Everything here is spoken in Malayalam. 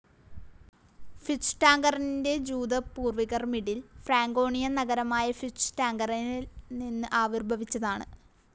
ഫ്യൂച്ട്വാൻഗറിന്റെ ജൂത പൂർവികർമിഡിൽ ഫ്രാങ്കോണിയൻ നഗരമായ ഫ്യൂച്ട്വാൻഗനിൽ നിന്ന് ആവിർഭവിച്ചതാണ്.